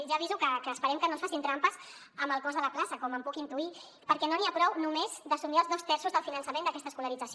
ja aviso que esperem que no ens facin trampes amb el cost de la plaça com ho puc intuir perquè no n’hi ha prou només d’assumir els dos terços del finançament d’aquesta escolarització